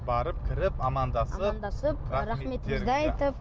барып кіріп амандасып амандасып рахметімізді айтып